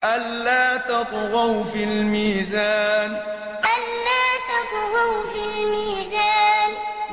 أَلَّا تَطْغَوْا فِي الْمِيزَانِ أَلَّا تَطْغَوْا فِي الْمِيزَانِ